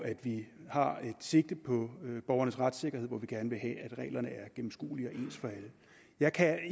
og at vi har et sigte på borgernes retssikkerhed hvor vi gerne vil have at reglerne er gennemskuelige og ens for alle jeg kan